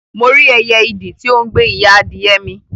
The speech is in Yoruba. Mo rí ẹyẹ idì ti o n gbe ìyá adìyẹ mi